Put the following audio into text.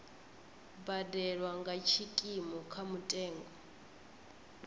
badelwa nga tshikimu kha mutengo